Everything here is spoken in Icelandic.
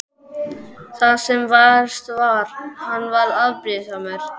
Það sem verst var: hann varð afbrýðisamur.